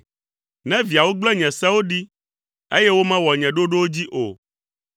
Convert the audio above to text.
“Ne viawo gblẽ nye sewo ɖi, eye womewɔ nye ɖoɖowo dzi o,